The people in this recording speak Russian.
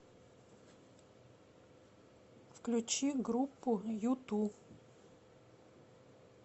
включи группу юту